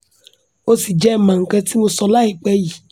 o si jẹ n ma nkan ti mo sọ laipẹ yi